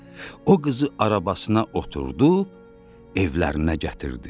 O qızı arabasına oturub evlərinə gətirdi.